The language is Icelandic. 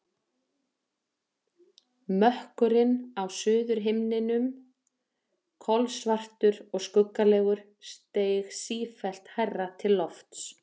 Mökkurinn á suðurhimninum, kolsvartur og skuggalegur, steig sífellt hærra til lofts.